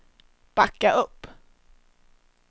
backa upp